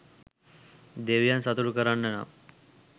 දෙවියන් සතුටු කරන්න නම්